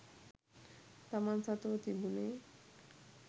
තමන් සතුව තිබුනේ